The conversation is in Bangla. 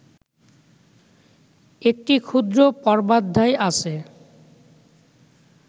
একটি ক্ষুদ্র পর্বাধ্যায় আছে